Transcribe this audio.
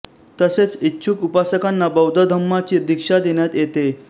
तसेच इच्छुक उपासकांना बौद्ध धम्माची दीक्षा देण्यात येते